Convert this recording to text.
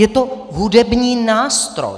Je to hudební nástroj.